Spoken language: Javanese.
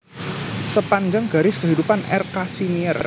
Sepanjang Garis Kehidupan R Kasimier